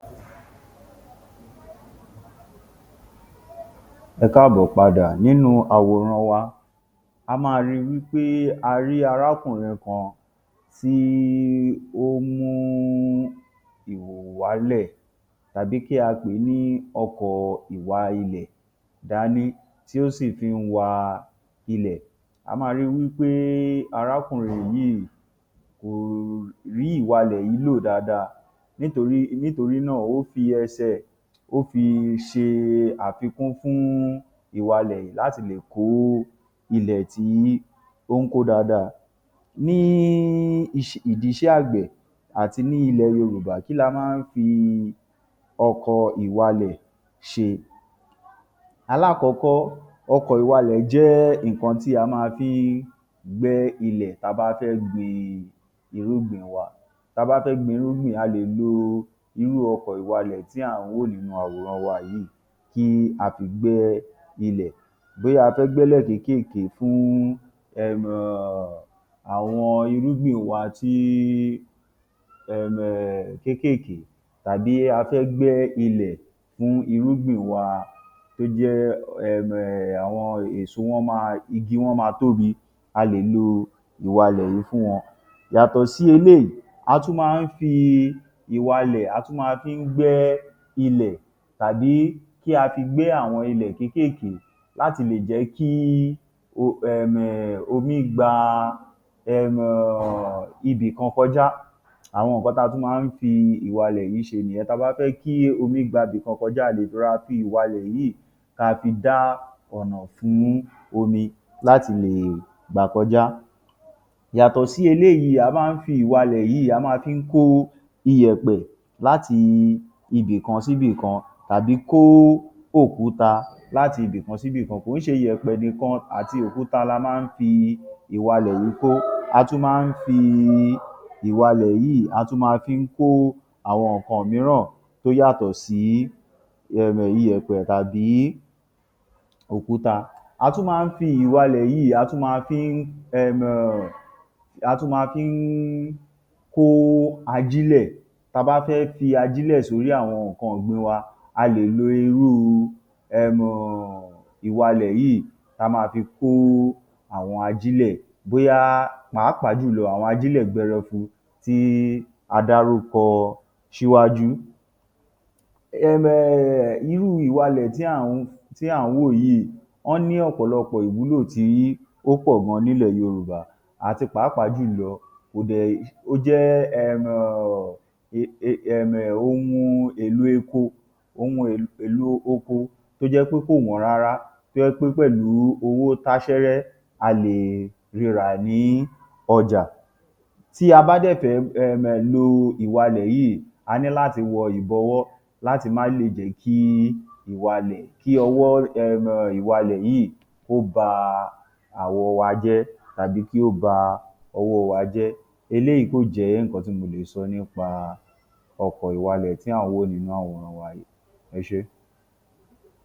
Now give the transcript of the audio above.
Ẹ káàbọ̀ padà. Nínú àwòran wa, a máa rí wí pé a rí arákùnrin kan tí ó mú ìhòòhò wálẹ̀ tàbí kí a pè é ní ọkọ̀ ìwa-ilẹ̀ dání tí ó sì fí ń wa ilẹ̀. A máa ri wí pé arákùnrin yìí kò rí ìwalẹ̀ yìí lò dáadáa nítorí nítorí náà ó fi ẹsẹ̀ ó fí ṣe àfikún fún ìwalẹ̀ yìí láti lè kó ilẹ̀ tí ó ń kó dáadáa. Ní ìdí iṣẹ́ àgbẹ̀ àti ní ilẹ̀ Yorùbá, kí la máa ń fi ọkọ̀ ìwalẹ̀ ṣe? Alákọ̀ọ́kọ́, ọkọ̀ ìwalẹ̀ jẹ́ nǹkan tí a ma fi ń gbẹ́ ilẹ̀ ta bá fẹ́ gbin irúgbìn wa. Ta bá fẹ́ gbin irúgbìn, a lè lo irú ọkọ̀ ìwalẹ̀ tí à ń wò nínú àwòrán wa yìí kí a fi gbẹ́ ilẹ̀. Bóyá a fẹ́ gbẹ́lẹ̀ kéékèèké fún um àwọn irúgbìn wa tí um kéékèèké, tàbí a fẹ́ gbẹ́ ilẹ̀ fún irúgbìn wa to jẹ́ um àwọn èso wọn ma igi wọn máa tóbi, a lè lo ìwalẹ̀ yìí fún wọn. Yàtọ̀ sí eléyìí, a tún máa ń fi ìwalẹ̀ a tún ma fi ń gbẹ́ ilẹ̀ tàbí kí a fi gbẹ́ àwọn ilẹ̀ kéékèèké láti lè jẹ́ kí o um omi gba um ibì kan kọjá. Àwọn nǹkan ta tún máa ń fi ìwalẹ̀ yìí ṣe nìyẹn. Ta bá fẹ́ kí omi gba bi kọkan jáde, rọra fi ìwalẹ̀ yìí ka fi dá ọ̀nà fún omi láti lè gbà kọjá. Yàtọ̀ sí eléyìí, a máa ń fi ìwalẹ̀ yìí a máa fi ń kó iyẹ̀pẹ̀ láti ibì kan síbì kan tàbí kó òkúta láti ibì kan síbì kan. Kò ó ṣe iyẹ̀pẹ̀ nìkan àti òkúta la máa ń fi ìwalẹ̀ yìí kó, a tún máa ń fi ìwalẹ̀ yìí a tún ma fi ń kó àwọn nǹkan míràn tó yàtọ̀ sí um iyẹ̀pẹ̀ tàbí òkúta. A tún máa ń fi ìwalẹ̀ yìí a tún ma fi ń um a tún ma fi ń kó ajílẹ̀. Ta bá fẹ́ fi ajílẹ̀ sórí àwọn nǹkan ọ̀gbìn wa, a lè lo irú um ìwalẹ̀ yìí ta ma fi kó àwọn ajílẹ̀ bóyá pàápàá jù lọ àwọn ajílẹ̀ gbẹrẹfun tí a dárúkọ síwájú. Um Irú ìwalẹ̀ tí à ń tí à ń wò yìí, wọ́n ní ọ̀pọ̀lọpọ̀ ìwúlò tí ó pọ̀ gan-an nílẹ̀ Yorùbá àti pàápàá jù lọ ó jẹ́ um um ohun èlo epo ohun èlo opo to jẹ́ pé kò wọ́n rárá, tó jẹ́ pé pẹ̀lú owó táṣẹ́rẹ́ a lè rirà ní ọjà. Tí a bá dẹ̀ fẹ́ um lo ìwalẹ̀ yìí, a ní láti wọ ìbọwọ́ láti má lè jẹ́ kí ìwalẹ̀ kí ọwọ́ um ìwalẹ̀ yìí kó ba àwọ̀ wa jẹ́ tabi kí ó ba ọwọ́ wa jẹ́. Eléyìí kò jẹ́ nǹkan tí mo lè sọ nípa ọkọ̀ ìwalẹ̀ tí à ń wò nínú àwòrán wa yìí. Ẹ ṣé.